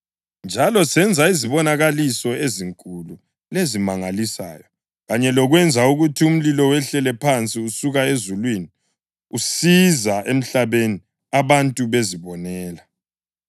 Njalo senza izibonakaliso ezinkulu lezimangalisayo, kanye lokwenza ukuthi umlilo wehlele phansi usuka ezulwini usiza emhlabeni abantu bezibonela.